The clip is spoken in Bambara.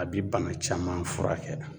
A bi bana caman furakɛ.